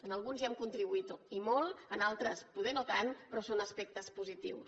en alguns hi hem contribuït i molt en altres potser no tant però són aspectes positius